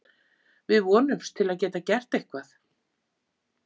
Við vonumst til að geta gert eitthvað.